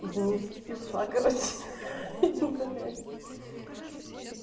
извините и ушла короче блять